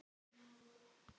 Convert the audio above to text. Hæ, elskan.